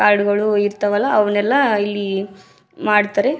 ಆಡುಗಳು ಇರ್ತಾವಲ್ಲ ಅವುನ್ನೆಲ್ಲ ಇಲ್ಲಿ ಮಾಡ್ತಾರೆ.